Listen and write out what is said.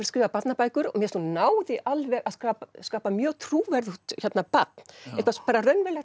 skrifað barnabækur og mér finnst hún ná því alveg að skapa mjög trúverðugt barn